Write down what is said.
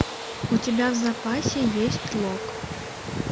у тебя в запасе есть лок